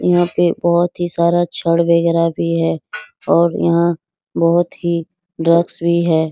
यहाँ पे बहुत ही सारा छड़ वगैराह भी है और यहाँ बहुत ही डरग्स भी है ।